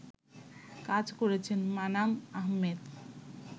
কাজ করেছেন মানাম আহমেদ